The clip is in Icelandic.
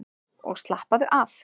Og slappaðu af!